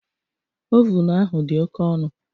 Ovunu ahụ dị oke ọnụ